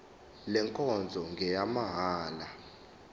le nkonzo ngeyamahala